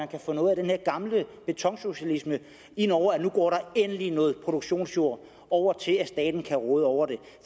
kan få noget af den her gamle betonsocialisme indover og at nu går der endelig noget produktionsjord over til at staten kan råde over den